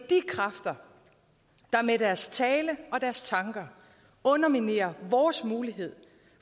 kræfter der med deres tale og deres tanker underminerer vores mulighed